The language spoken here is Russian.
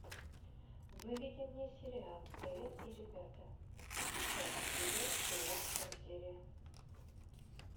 выведи мне сериал элен и ребята десятый сезон семнадцатая серия